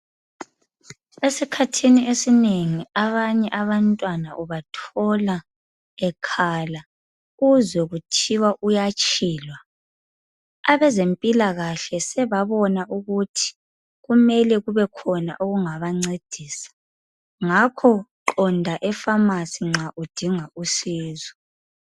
Esikhathini esinengi abanye abantwana ubathola bekhala uzwe kuthiwa uyatshilwa, abezempilakahle sebabona ukuthi kumele kubekhona okungabancedisa ngakho qonda efamasi nxa udinga usizo.